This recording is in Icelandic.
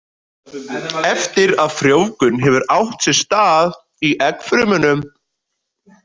Eftir að frjóvgun hefur átt sér stað í eggfrumunum.